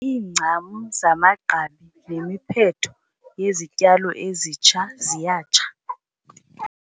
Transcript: Iincam zamagqabi nemiphetho yezityalo ezitsha ziyatsha.